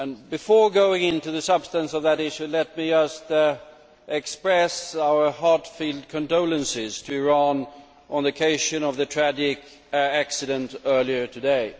Before going into the substance of that issue, let me just express our heartfelt condolences to Iran on the occasion of the tragic accident earlier today.